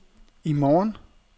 i morgen